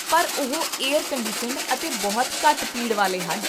ਪਰ ਉਹ air conditioned ਅਤੇ ਬਹੁਤ ਘੱਟ ਭੀੜ ਵਾਲੇ ਹਨ